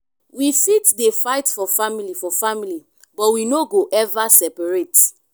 we fit dey fight for family for family but we no go ever separate.